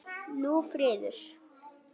Hún er friðuð.